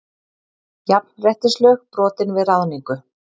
Jafnréttislög brotin við ráðningu